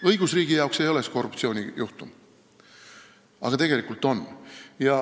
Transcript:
Õigusriigi jaoks ei ole see korruptsioonijuhtum, aga tegelikult on.